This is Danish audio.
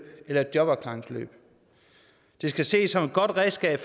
eller i jobafklaringsforløb det skal ses som et godt redskab